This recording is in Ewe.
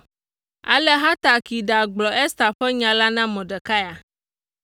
Ale Hatak yi ɖagblɔ Ester ƒe nya la na Mordekai,